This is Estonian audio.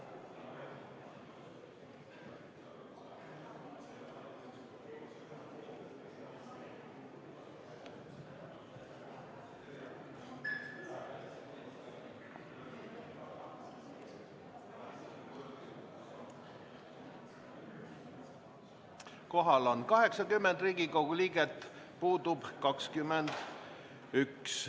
Kohal on 80 Riigikogu liiget, puudub 21.